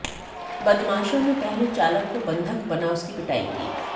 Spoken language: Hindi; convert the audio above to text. बदमाशों ने पहले चालक को बंधक बना उसकी पिटाई की